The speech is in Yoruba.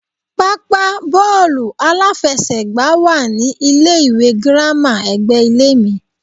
Pápá bóòlù aláfesègbá wá ní ilé ìwé girama ègbé ilé mi